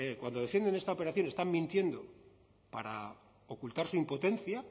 cuando defienden esta operación están mintiendo para ocultar su impotencia